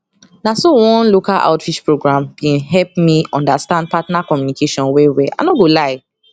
na so one local outreach program been help me understand partner communication well well i no go lie